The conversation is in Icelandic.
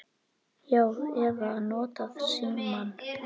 Já. eða notað símann.